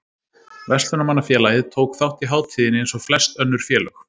Verslunarmannafélagið tók þátt í hátíðinni eins og flest önnur félög.